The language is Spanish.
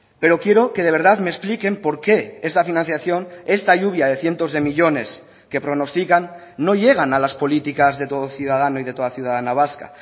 pero quiero que de verdad me expliquen por qué esta financiación esta lluvia de cientos de millónes que pronostican no llegan a las políticas de todo ciudadano y de toda ciudadana vasca